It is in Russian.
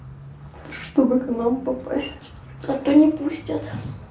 чтобы к нам попасть а то не пустят